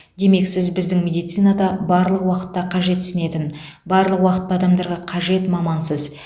демек сіз біздің медицинада барлық уақытта қажетсінетін барлық уақытта адамдарға қажет мамансыз